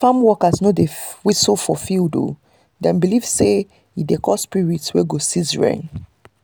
farm workers no dey whistle for field - dem believe say e dey call spirit wey go cease rain.